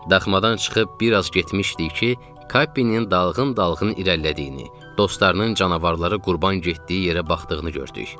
Daxmadan çıxıb bir az getmişdik ki, Kappinin dalğın-dalğın irəlilədiyini, dostlarının canavara qurban getdiyi yerə baxdığını gördük.